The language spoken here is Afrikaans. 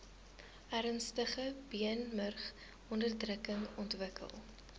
ernstige beenmurgonderdrukking ontwikkel